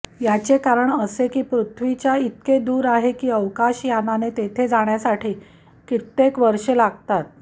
याचे कारण असे की पृथ्वीचे इतके दूर आहे की अवकाशयानाने तेथे जाण्यासाठी कित्येक वर्षे लागतात